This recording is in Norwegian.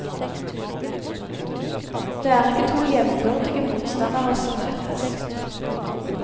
Det er ikke to jevnbyrdige motstandere som møtes.